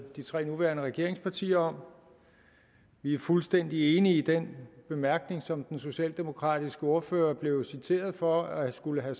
de tre nuværende regeringspartier om vi er fuldstændig enige i den bemærkning som den socialdemokratiske ordfører blev citeret for at skulle være